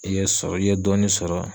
I ye sɔrɔ i ye dɔɔni sɔrɔ.